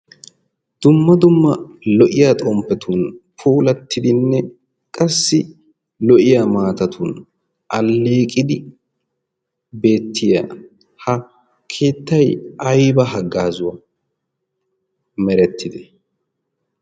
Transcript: dumma dumma lo'iya xomppetun poolattidinne qassi lo'iya maatatun alliiqidi beettiya ha keettai ayba haggaazuwaa merettite?